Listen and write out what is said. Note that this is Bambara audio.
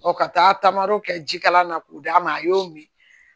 ka taa tamoro kɛ jikalan na k'o d'a ma a y'o min